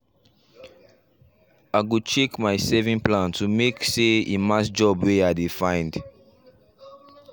i go check my saving plan to make say e match job way i dey find